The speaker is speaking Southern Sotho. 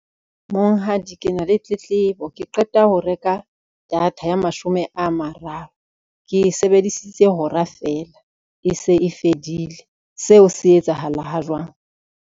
Monghadi, kena le tletlebo ke qeta ho reka data ya mashome a mararo. Ke sebedisitse hora fela e se e fedile, seo se etsahalang ha jwang.